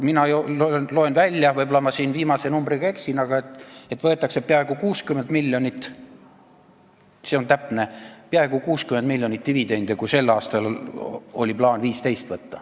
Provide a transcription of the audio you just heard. Mina loen välja – võib-olla ma viimase numbriga eksin –, et võetakse peaaegu 60 miljonit dividendi, kui sel aastal oli plaan võtta 15 miljonit.